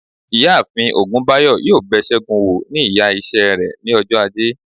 iyaafin ogunbayo yọọ bé según wọ̀ ní ìyá ise re ní òjó ajé